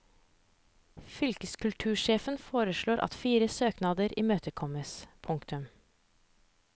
Fylkeskultursjefen foreslår at fire søknader imøtekommes. punktum